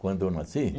Quando eu nasci?